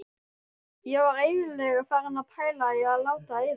Ég var eiginlega farin að pæla í að láta eyða.